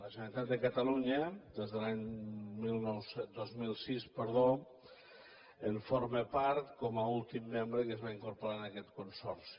la generalitat de catalunya des de l’any dos mil sis en forma part com a últim membre que es va incorporar a aquest consorci